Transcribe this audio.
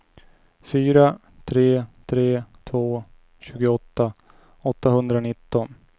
fyra tre tre två tjugoåtta åttahundranitton